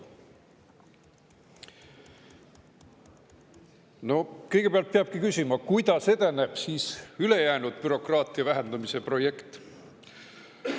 No kõigepealt peabki küsima, kuidas edeneb siis ülejäänud bürokraatia vähendamise projekt.